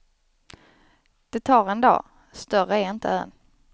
Det tar en dag, större är inte ön.